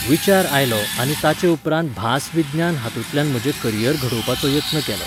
विचार आयलो आनी ताचे उपरांत भास विज्ञान हातुंतल्यान म्हजें करियर घडोवपाचो यत्न केलो.